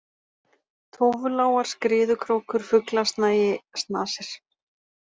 Tófulágar, Skriðukrókur, Fuglasnagi, Snasir